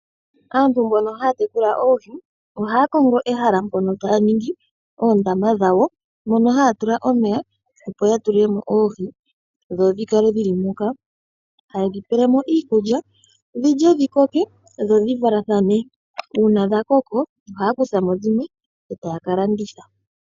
Aantu mboka haya tekula oohi ohaya kongo ehala mpoka taya ningi oondama dhawo, moka haya tula omeya opo ya tulemo oohi, dho dhi kale dhili moka, ha yedhi peyelemo iikulya, dhilye dhi koke, dho dhi valathane, uuna dha koko, ohaya kuthamo dhimwe etaya ka landitha.